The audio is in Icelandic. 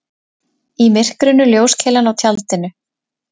Í myrkrinu ljóskeilan á tjaldinu.